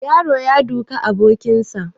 The boy is beating his friend